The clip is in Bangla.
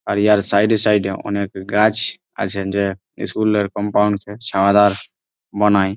আর ইয়ার সাইড -এ সাইড -এ অনেক গাছ-ছ আছে যে স্কুল -এর কম্পাউন্ড -কে ছাওয়াদার বানায়।